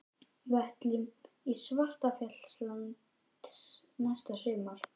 Við ætlum til Svartfjallalands næsta sumar.